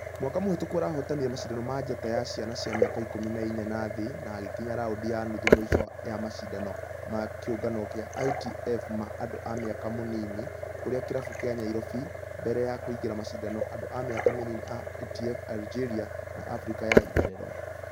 Mwaka mũhĩtŭku arahotanire mashidano ma njata ya ciana cia mĩaka ikũmi na inya na thĩ na agĩkinya raundi ya nuthu mũisho ya mashidano ma kĩũngano gĩa ITF ma andũ a mĩaka mĩnini kũrĩa kĩrabu gĩa nyairobi mbere ya kũingĩra mashidano andũ a mĩaka mĩnini ma ITF algeria na africa ya therero .